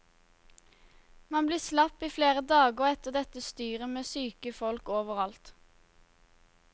Man blir slapp i flere dager etter dette styret med syke folk overalt.